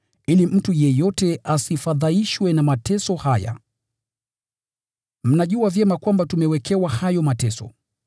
ili mtu yeyote asifadhaishwe na mateso haya. Mnajua vyema kwamba tumewekewa hayo mateso.